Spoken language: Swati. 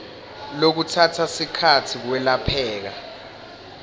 lokutsatsa sikhatsi kwelapheka